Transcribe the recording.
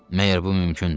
Məyər bu mümkündür?